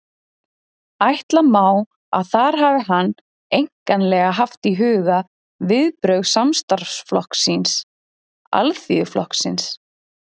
Ætla má, að þar hafi hann einkanlega haft í huga viðbrögð samstarfsflokks síns, Alþýðuflokksins.